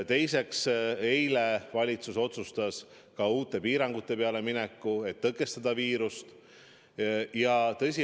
Teiseks, eile otsustas valitsus ka minna uute piirangute peale, et tõkestada viiruse levikut.